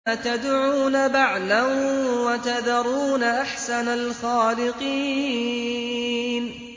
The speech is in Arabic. أَتَدْعُونَ بَعْلًا وَتَذَرُونَ أَحْسَنَ الْخَالِقِينَ